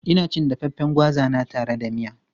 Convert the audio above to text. Ina cin dafaffen gwaza na tare da miya.